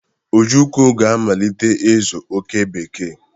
Ojukwu ga-amalite ịzụ oke bekee.